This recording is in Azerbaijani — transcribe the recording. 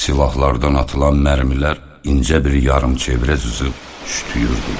Silahlardan atılan mərmilər incə bir yarımçevrə cızıb şütüyürdülər.